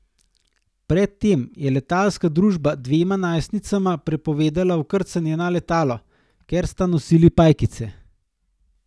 Pred tem je letalska družba dvema najstnicama prepovedala vkrcanje na letalo, ker sta nosili pajkice.